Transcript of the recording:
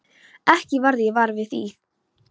Ekki varð ég var við það.